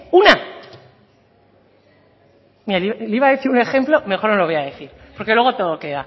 una mira le iba a decir un ejemplo mejor no lo voy a decir porque luego todo queda